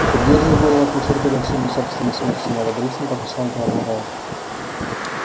и придёт же в голову отмечать годовщину собственной смерти неодобрительно покачал головой рон